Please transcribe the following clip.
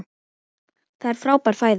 Það er frábær fæða.